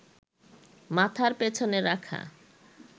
মাথার পেছনে রাখা